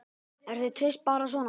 Er þér treyst bara svona?